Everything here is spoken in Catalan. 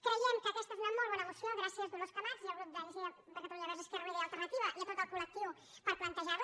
creiem que aquesta és una molt bona moció gràcies dolors camats i al grup d’iniciativa per catalunya verds esquerra unida i alternativa i a tot el col·lectiu per plantejarla